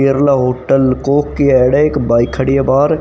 Kerala hotel एक bike खड़ी हैं बाहर--